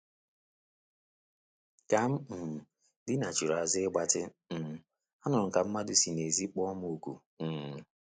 Ka m um dinachiri àzụ́ ịgbatị, um anụrụ m ka mmadu si n'ezi kpọọ m oku um